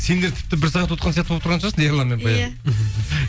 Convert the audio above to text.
сендер тіпті бір сағат отырған сияқты болып тұрған шығарсың ерлан мен